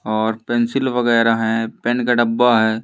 और पेंसिल वगैरह है पेन का डब्बा है।